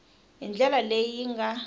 hi ndlela leyi yi nga